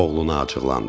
Oğluna acıqlandı.